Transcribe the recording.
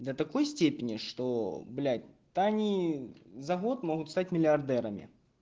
до такой степени что блять то они за год могут стать миллионерами